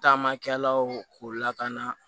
Taamakɛlaw k'u lakana